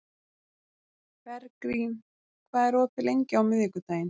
Bergrín, hvað er opið lengi á miðvikudaginn?